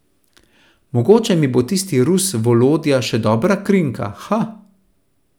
Mogoče mi bo tisti Rus Volodja še dobra krinka, ha!